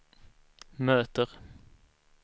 möter